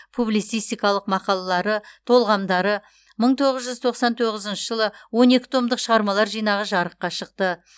публицистикалық мақалалары толғамдары мың тоғыз жүз тоқсан тоғызыншы жылы он екі томдық шығармалар жинағы жарыққа шықты